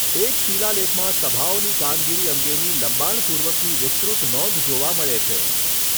એક શિલાલેખમાં સભાઓની કામગીરી અંગેની લંબાણપૂર્વકની વિસ્તૃત નોંધ જોવા મળે છે.